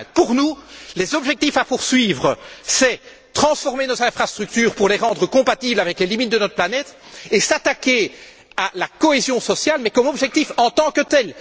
2020 Pour nous, les objectifs à poursuivre c'est transformer nos infrastructures pour les rendre compatibles avec les limites de notre planète et s'attaquer à la cohésion sociale, mais comme objectif en tant que tel.